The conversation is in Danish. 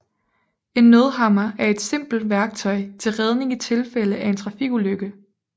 En nødhammer er et simpelt værktøj til redning i tilfælde af en trafikulykke